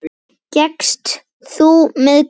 Gekkst þú með Guði.